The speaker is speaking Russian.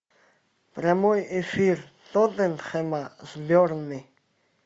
прямой эфир тоттенхэма с бернли